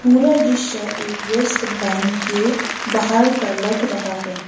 पूरा दृश्य एक व्यस्त बैंक के बाहर का लग रहा है।